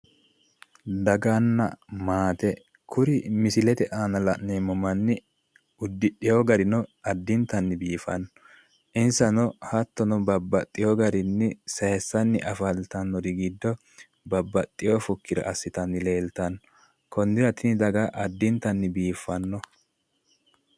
daganna maate kuri misilete aana la'neemmo manni uddidhino garino lowontanni biifanno insano hattono babbaxino garinni sayiissanni afantannorinori giddo babbaxino fukkera assitanni afantanno konnira tini daga lowontanni biiffanno